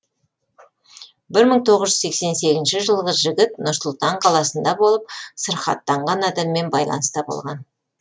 бір мың тоғыз сексен сегізінші жылғы жігіт нұр сұлтан қаласында болып сырқаттанған адаммен байланыста болған